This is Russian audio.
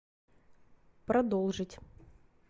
продолжить